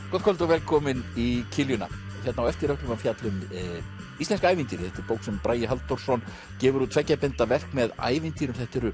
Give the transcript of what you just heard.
kvöld og velkomin í kiljuna hérna á eftir ætlum við að fjalla um íslensk ævintýri þetta er bók sem Bragi Halldórsson gefur út tveggja binda verk með ævintýrum þetta eru